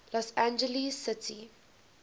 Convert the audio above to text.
los angeles city